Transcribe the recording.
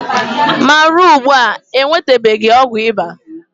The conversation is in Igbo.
ma ruo ugbua, e nwetabeghị ọgwụ ịba.